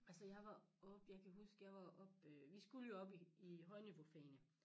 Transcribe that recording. Altså jeg var oppe jeg kan huske jeg var oppe vi skulle jo op i i højniveaufagene